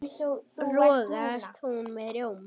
rogast hún með rjóma